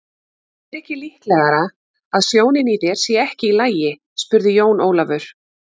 Er ekki líklegara að sjónin í þér sé ekki í lagi spurði Jón Ólafur.